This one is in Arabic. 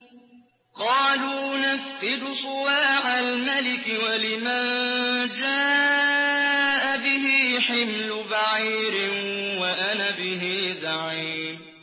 قَالُوا نَفْقِدُ صُوَاعَ الْمَلِكِ وَلِمَن جَاءَ بِهِ حِمْلُ بَعِيرٍ وَأَنَا بِهِ زَعِيمٌ